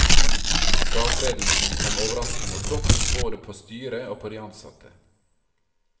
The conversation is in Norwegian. Fratredelsen kom overraskende og brått både på styret og på de ansatte.